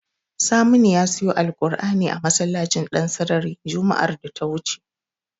Saminu ya siyo alkur'ani a masallacin Ɗansarari juma'ar da ta wuce.